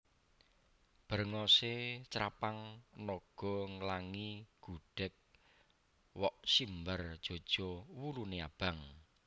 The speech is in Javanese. Brengose crapang naga nglangi gudheg wok simbar jaja wulune abang